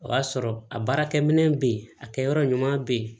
O y'a sɔrɔ a baarakɛminɛ bɛ yen a kɛ yɔrɔ ɲuman bɛ ye